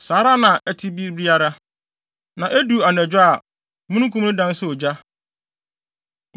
Saa ara na ɛte bere biara, na edu anadwo a, mununkum no dan yɛ sɛ ogya.